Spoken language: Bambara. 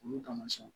Olu kama sɔn